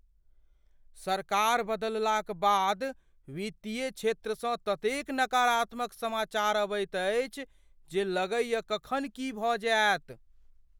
सरकार बदललाक बाद वित्तीय क्षेत्रसँ ततेक नकारात्मक समाचारक अबैत अछि जे लगैए कखन की भऽ जायत।